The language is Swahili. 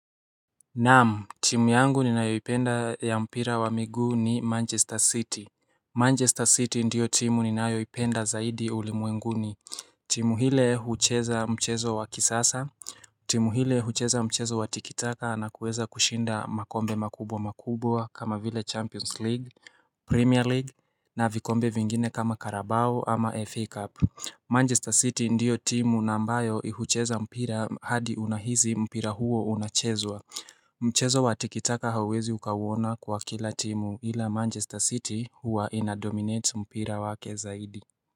Naam timu yangu ni nayoipenda ya mpira wa miguu ni Manchester City Manchester City ndio timu ni nayoipenda zaidi ulimwenguni timu hile hucheza mchezo wa kisasa timu hile hucheza mchezo wa tikitaka na kuweza kushinda makombe makubwa makubwa kama vile Champions League Premier League na vikombe vingine kama Carabao ama FA Cup Manchester City ndio timu nambayo ihucheza mpira hadi unahisi mpira huo unachezwa Mchezo watikitaka hauezi ukauona kwa kila timu ila Manchester City huwa ina-dominate mpira wake zaidi.